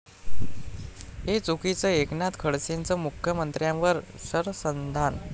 हे चुकीचं, एकनाथ खडसेंचं मुख्यमंत्र्यांवर शरसंधान